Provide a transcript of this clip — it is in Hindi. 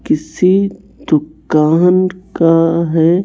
किसी दुकान का है।